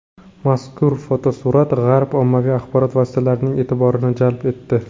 Mazkur fotosurat G‘arb ommaviy axborot vositalarining e’tiborini jalb etdi.